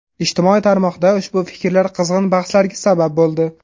Ijtimoiy tarmoqda ushbu fikrlar qizg‘in bahslarga sabab bo‘ldi.